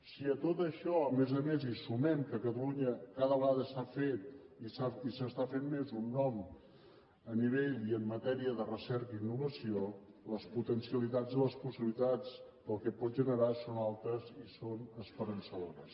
si a tot això a més a més hi sumem que catalunya cada vegada s’ha fet i s’està fent més un nom a nivell i en matèria de recerca i innovació les potencialitats i les possibilitats del que pot generar són altes i són esperançadores